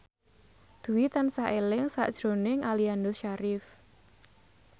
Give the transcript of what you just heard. Dwi tansah eling sakjroning Aliando Syarif